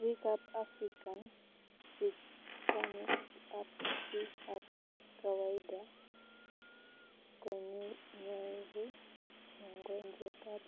Biik ab african hispanics ak biik ab kawaida konyoru mongojwet ab